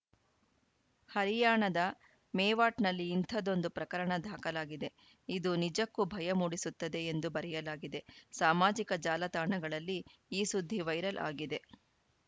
ಹರಿಯಾಣದ ಮೇವಾಟ್‌ನಲ್ಲಿ ಇಂಥದ್ದೊಂದು ಪ್ರಕರಣ ದಾಖಲಾಗಿದೆ ಇದು ನಿಜಕ್ಕೂ ಭಯ ಮೂಡಿಸುತ್ತದೆ ಎಂದು ಬರೆಯಲಾಗಿದೆ ಸಾಮಾಜಿಕ ಜಾಲತಾಣಗಳಲಿ ಈ ಸುದ್ದಿ ವೈರಲ್‌ ಆಗಿದೆ